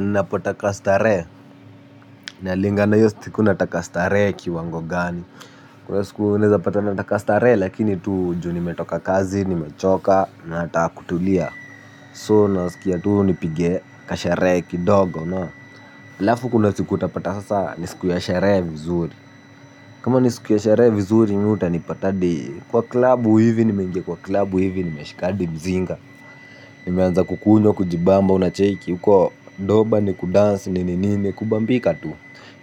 Napotaka starehe. Nalingana hiyo siku nataka starehe kiwango gani. Kwa siku unaweza pata nataka starehe lakini tu juu nimetoka kazi, nimechoka nataka kutulia. So nasikia tuu nipige kasherehe kidogo unaona alafu kuna siku utapata sasa ni siku ya sherehe vizuri. Kama ni siku ya sherehe vizuri mi utanipata hadi kwa klabu hivi nimeingia kwa klabu hivi ni nimeshi hadi mzinga. Nimeanza kukunywa, kujibamba, unacheki, huko doba, ni kudansi, ni nini, ni kubambika tu